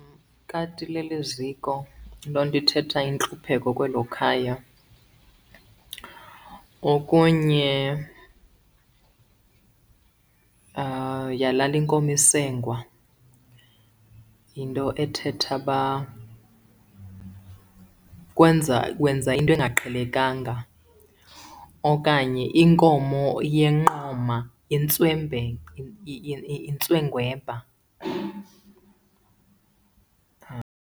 Ikati ilele eziko, loo nto ithetha intlupheko kwelo khaya. Okunye yalala inkomo isengwa, yinto ethetha uba wenza into engaqhelekanga. Okanye inkomo yenqoma intswengwebha.